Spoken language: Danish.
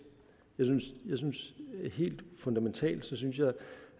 jeg synes helt fundamentalt